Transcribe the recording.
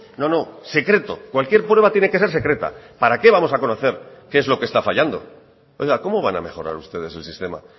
no no secreto cualquier prueba tiene que ser secreta para qué vamos a conocer qué es lo que está fallando oiga cómo van a mejorar ustedes el sistema